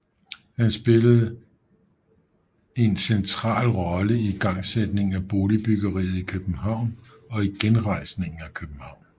Her spillede han en central rolle i igangsætningen af boligbyggeriet i København og i genrejsningen af København